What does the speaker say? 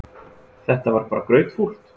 Þetta var bara grautfúlt.